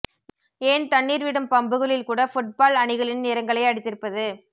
ஏன் தண்ணீர் விடும் பம்புகளில் கூட ஃபுட் பால் அணிகளின் நிறங்களை அடித்திருப்பது